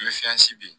N bɛ di